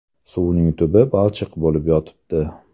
Suvning tubi balchiq bo‘lib yotibdi.